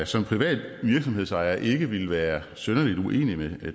som privat virksomhedsejer ikke ville være synderlig uenig med